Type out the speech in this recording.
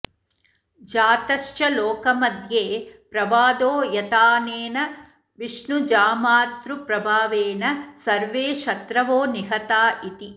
जातश्च लोकमध्ये प्रवादो यथाऽनेन विष्णुजामातृप्रभावेण सर्वे शत्रवो निहता इति